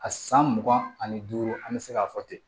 A san mugan ani duuru an bɛ se k'a fɔ ten